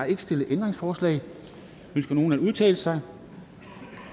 ikke stillet ændringsforslag ønsker nogen at udtale sig